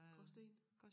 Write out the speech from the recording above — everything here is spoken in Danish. Gråsten